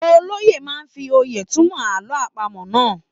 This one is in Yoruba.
Olóye máa fi òye túmọ̀ àlọ́ àpamọ́ náà.